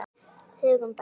Hugrún: Bara blys?